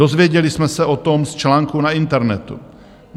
Dozvěděli jsme se o tom z článku na internetu.